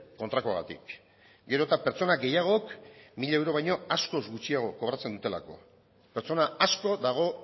kontrakoagatik gero eta pertsona gehiagok mila euro baino askoz gutxiago kobratzen dutelako pertsona asko dago